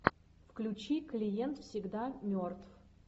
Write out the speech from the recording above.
включи клиент всегда мертв